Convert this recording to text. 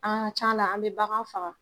A ka ca a la an bɛ bagan faga.